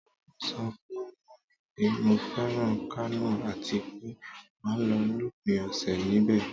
Mo so fun Mummy pe mo feran Kano atipe ma lo lopin ose nibe